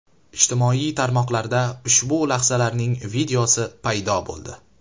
Ijtimoiy tarmoqlarda ushbu lahzalarning videosi paydo bo‘ldi.